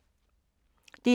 DR1